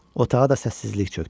Otağa da səssizlik çökdü.